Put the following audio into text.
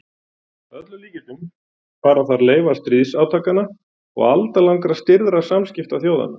Að öllum líkindum fara þar leifar stríðsátakanna og aldalangra stirðra samskipta þjóðanna.